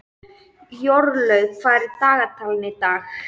Jórlaug, hvað er á dagatalinu í dag?